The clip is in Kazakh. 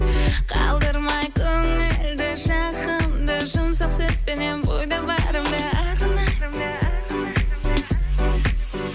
қалдырмай көңілді жағымды жұмсақ сөзбенен бойда барымды арнаймын